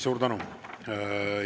Suur tänu!